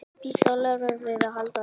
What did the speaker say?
Býst Ólafur við að halda þeim?